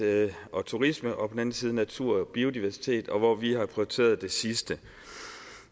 og turisme og på den anden side natur og biodiversitet hvor vi har prioriteret det sidste